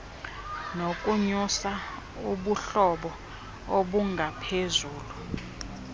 nokunyusa ubuhlobo obungaphezulu